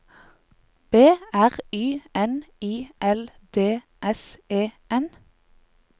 B R Y N I L D S E N